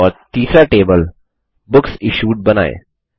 और तीसरा table books issued बनाएँ